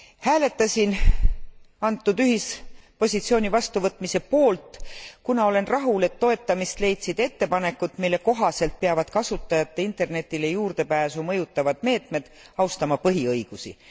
Hääletasin antud ühispositsiooni vastuvõtmise poolt, kuna olen rahul, et toetamist leidsid ettepanekud, mille kohaselt peavad kasutajate internetile juurdepääsu mõjutavad meetmed austama põhiõigusi.